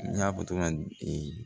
N y'a fɔ togoya min na